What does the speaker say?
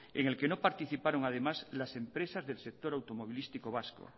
en el que no participaron además las empresas del sector de automovilístico vasco